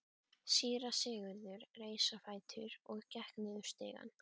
Síra Sigurður reis á fætur og gekk niður stigann.